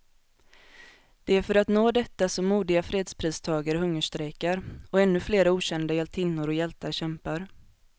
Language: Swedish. Det är för att nå detta som modiga fredspristagare hungerstrejkar, och ännu flera okända hjältinnor och hjältar kämpar.